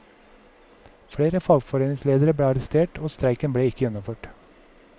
Flere fagforeningsledere ble arrestert, og streiken ble ikke gjennomført.